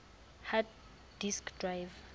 hard disk drive